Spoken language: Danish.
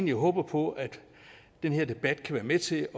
jeg håber på at den her debat kan være med til at